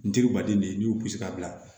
N teriba den de ye n y'u sigi ka bila